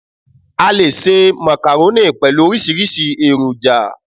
A leè se macaroni pẹ̀lú orísírìsí èròjà